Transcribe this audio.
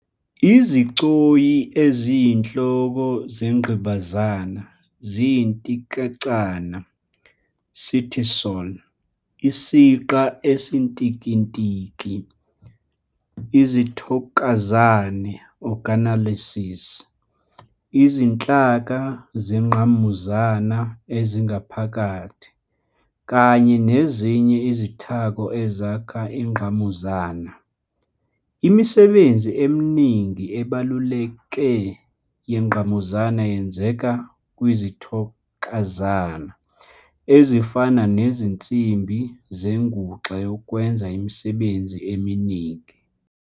Izigcoyi eziyinhloko zengqimbazana ziyintikicana "cytosol", isiqa esintikintiki, izithokazane "organelles", izinhlaka zengqamuzana ezingaphakathi, kanye nezinye izithako ezakha ingqamuzana. Imisebenzi eminingi ebalulekile yengqamuzana yenzeka kwizithokazane, ezifana nezinsimbi zenguxa yokwenza imisebenzi eminingi.